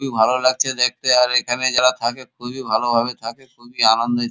খুবই ভালো লাগছে দেখতে আর এখানে যারা থাকে খুবই ভালোভাবে থাকে খুবই আনন্দে।